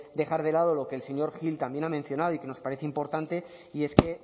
dejar de lado lo que el señor gil también ha mencionado y que nos parece importante y es que